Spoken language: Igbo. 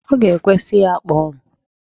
Ọ ga-ekwe, sị ya kpọọ m.